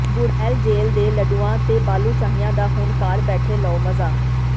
Burail jail ਦੇ ਲੱਡੂਆਂ ਤੇ ਬਾਲੂਸ਼ਾਹੀਆਂ ਦਾ ਹੁਣ ਘਰ ਬੈਠੇ ਲਓ ਮਜ਼ਾ